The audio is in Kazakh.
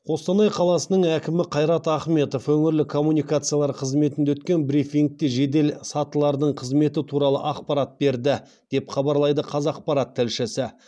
қостанай қаласының әкімі қайрат ахметов өңірлік коммуникациялар қызметінде өткен брифингте жеделсатылардың қызметі туралы ақпарат берді деп хабарлайды қазақпарат тілшісі